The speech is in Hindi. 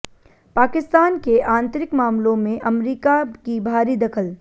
पाकिस्तान के आतंरिक मामलों में अमरीका की भारी दखल